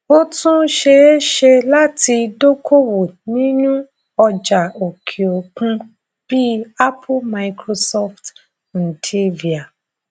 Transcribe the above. ó tún ṣeé ṣe láti dókòwò nínú ọjà òkè òkun bí apple microsoft nvidia